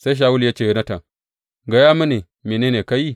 Sai Shawulu ya ce wa Yonatan, Gaya mini mene ne ka yi.